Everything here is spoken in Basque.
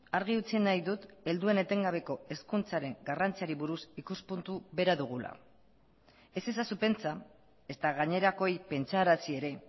argi utzi nahi dut helduen etengabeko hezkuntzaren garrantziari buruz ikuspuntu bera dugula ez ezazu pentsa ezta gainerakoei pentsarazi ere